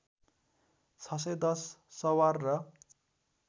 ६१० सवार र